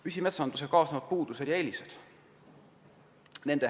Püsimetsandusega kaasnevad puudused ja eelised.